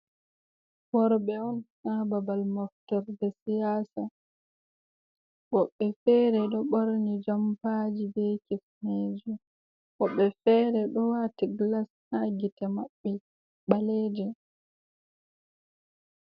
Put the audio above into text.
Worbe'on ha babal moftorde siyasa, wobɓe fere ɗo ɓorni jompaji be kifnejo, wobɓe fere ɗo wati gilas ha gite mabɓe ɓaleje.